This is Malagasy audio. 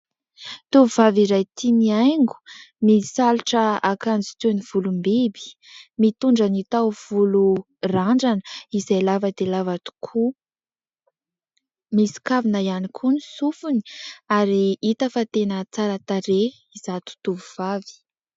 Tovovavy iray tia mihaingo misalotra akanjo toin'ny volombiby, mitondra ny taovolo randrana izay lava dia lava tokoa, misy kavina ihany koa ny sofiny ary hita fa tena tsara tarehy izato totovovavy.